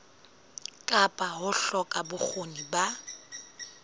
kapa ho hloka bokgoni ba